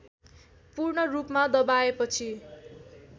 पूर्ण रूपमा दबाएपछि